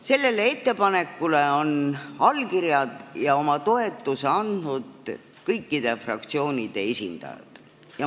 Sellele ettepanekule on allkirjad ja oma toetuse andnud kõikide fraktsioonide esindajad.